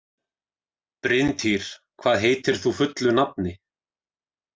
Bryntýr, hvað heitir þú fullu nafni?